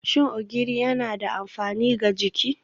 Shin Ogiri yana da amfani ga jiki?